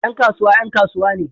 Yan kasuwa 'yan kasuwa ne